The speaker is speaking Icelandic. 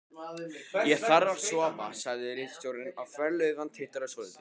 Ég þarf að sofa, sagði ritstjórinn og þverslaufan titraði svolítið.